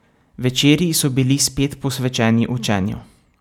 Večeri so bili spet posvečeni učenju.